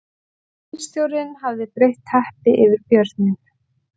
Bílstjórinn hafði breitt teppi yfir björninn